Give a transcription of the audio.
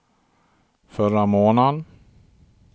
förra månaden